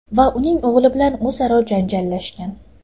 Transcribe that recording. va uning o‘g‘li bilan o‘zaro janjallashgan.